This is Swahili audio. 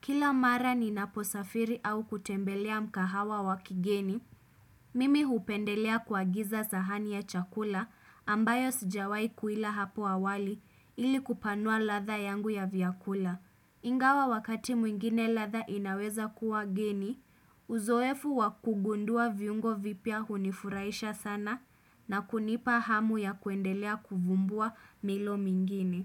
Kila mara ninaposafiri au kutembelea mkahawa wakigeni, mimi hupendelea kuagiza sahani ya chakula ambayo sijawai kuila hapo awali ili kupanua ladha yangu ya vyakula. Ingawa wakati mwingine ladha inaweza kuwa geni, uzoefu wakugundua viungo vipya hunifuraisha sana na kunipa hamu ya kuendelea kuvumbua milo mingini.